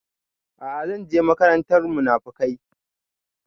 A'a zan je makarantar munafukai